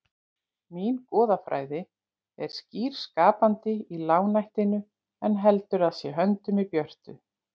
Mín goðafræði er skýr skapandi í lágnættinu en heldur að sér höndum í björtu